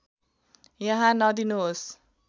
यहाँ नदिनुहोस्